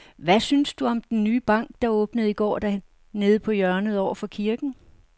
Hvad synes du om den nye bank, der åbnede i går dernede på hjørnet over for kirken?